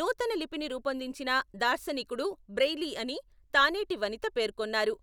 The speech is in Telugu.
నూతన లిపిని రూపొందించిన దార్శనికుడు బ్రెయిలీ అని తానేటి వనిత పేర్కొన్నారు.